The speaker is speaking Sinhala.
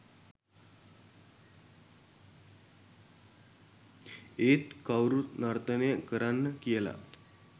ඒත් කවුරුත් නර්තනය කරන්න කියලා